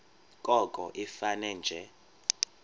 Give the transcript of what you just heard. koko ifane nje